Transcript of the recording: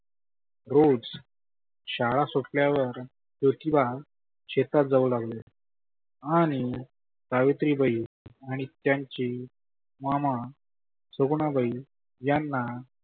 रोज शाळा सुटल्यावर ज्योतीबा शेतात जाऊ लागले आणि सावित्री बाई आणि त्यांची मामा सगुनाबाई यांना